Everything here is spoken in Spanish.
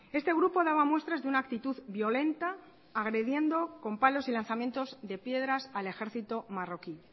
este grupo daba muestras de una actitud violenta agrediendo con palos y lanzamientos de piedras al ejército marroquí